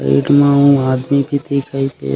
Bed म अऊ आदमी भी दिखाइसे।